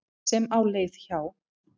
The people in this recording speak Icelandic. sem á leið hjá.